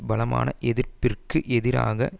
பலமான எதிர்ப்பிற்கு எதிராக